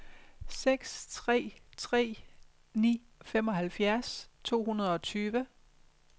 seks tre tre ni femoghalvfjerds to hundrede og tyve